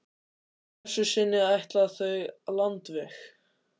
Að þessu sinni ætla þau landveg.